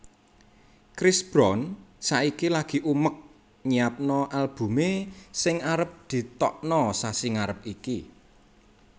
Chris Brown saiki lagi umek nyiapno albume sing arep ditokno sasi ngarep iki